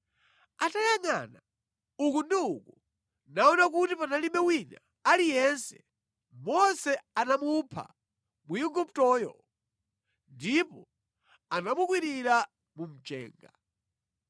Atayangʼana uku ndi uku, naona kuti panalibe wina aliyense, Mose anamupha Mwiguptoyo ndipo anamukwirira mu mchenga.